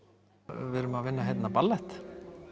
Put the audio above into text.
við erum að vinna hérna ballett